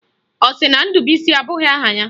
Ọ sị na Ndubuisi abụghị aha ya?